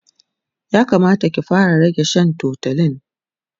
ya Kamata ki fara rage Shan tutolin